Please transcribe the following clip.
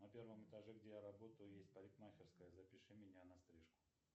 на первом этаже где я работаю есть парикмахерская запиши меня на стрижку